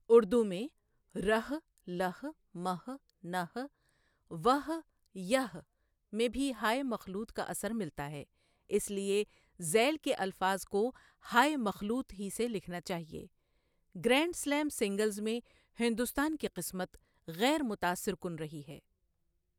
اردو میں رھ، لھ، مھ، نھ، وھ، یھ میں بھی ہائے مخلوط کا اثر ملتا ہے اس لیے ذیل کے الفاظ کو ہائے مخلوط ہی سے لکھنا چاہیے گرینڈ سلیم سنگلز میں ہندوستان کی قسمت غیر متاثر کن رہی ہے، ۔